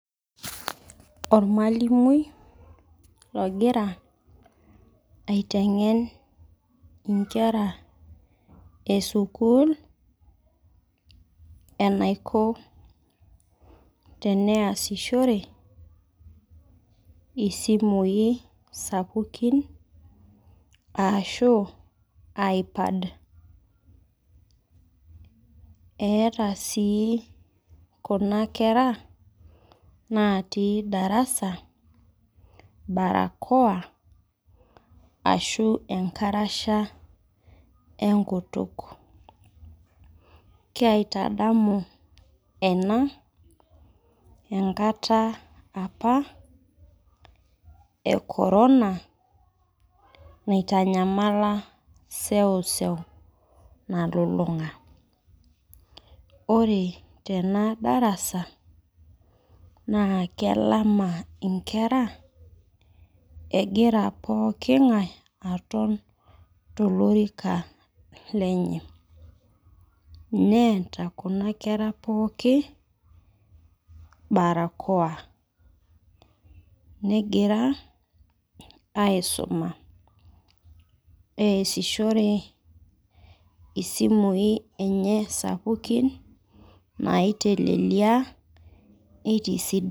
Olmalimui ogira aiteng'en inkera esukuul enaiko teneasishore isimui sapukin aashu  iPad. Eeta sii kuna kera naatii darasa barakoa ashuu enkarasha enkutuk. Keiatadamu ena enkata apa e korona naitanyamala seuseu nalulung'a. Ore tena  darasa naa kelama inkera egira pooking'ai aton tolorika lenye. Neeta kuna kera pooki  barakoa. Negira aaisuma easishore isimui enye sapukin naaitelelia neitisidan.